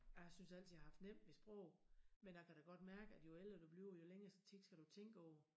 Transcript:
Jeg synes altid jeg har haft nemt ved sprog men jeg kan da godt mærke at jo ældre du bliver jo længere tid skal du tænke over